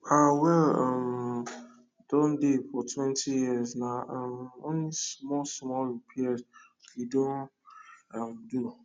our well um Accepted dey for twenty years na um only small small repairs we don um do